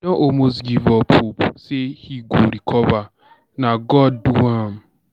almost give up hope say he go recover. Na God do am.